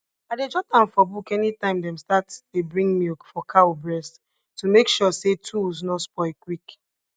i dey jot am for book anytime dem start dey bring milk for cow breast to make sure say tools nor spoil quick